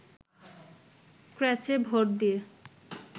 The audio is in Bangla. ক্র্যাচে ভর দিয়ে